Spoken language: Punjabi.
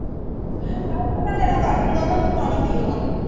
ਚੱਲ ਮੈਂ ਕਰਦੀ ਤੁਹਾਡੇ ਨਾਲ਼ ਗੱਲ ਪਾਣੀ ਪੀ ਲਵਾਂ